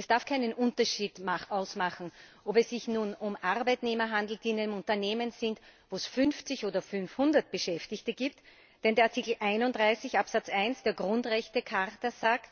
Es darf keinen Unterschied machen, ob es sich nun um Arbeitnehmer handelt, die in einem Unternehmen sind, wo es 50 oder 500 Beschäftigte gibt, denn der Artikel 31 Absatz 1 der Grundrechtecharta besagt